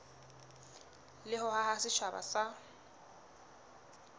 le ho haha setjhaba sa